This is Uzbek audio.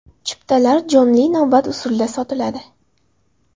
Chiptalar jonli navbat usulida sotiladi.